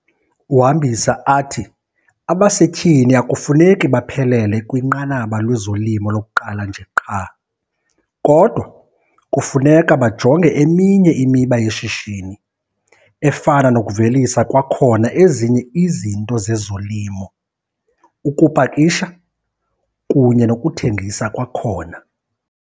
Uhambisa athi abasetyhini akufuneki baphelele kwinqanaba lwezolimo lokuqala nje qha, kodwa kufuneka bajonge eminye imiba yeshishini efana nokuvelisa kwakhona ezinye izinto zezolimo, ukupakisha kunye nokuthengisa kwakhona.